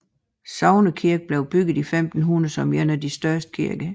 Sognekirken blev bygget år 1500 som en af de største kirker